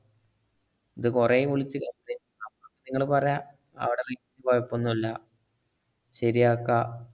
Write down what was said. ഇത് കൊറേം വിളിച്ച് നിങ്ങള് പറ, അവിട re~ കൊയപ്പൊന്നുല്ല, ശരിയാക്കാ.